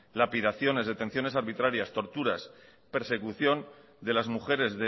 lapidaciones detenciones arbitrarias torturas persecución de las mujeres